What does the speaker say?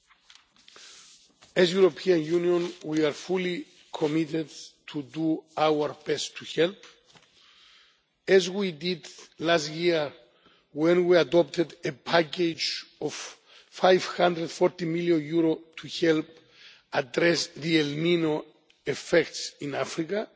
ground. As the European Union, we are fully committed to doing our best to help, as we did last year when we adopted a package of EUR 540 million to help address the El Niño effects in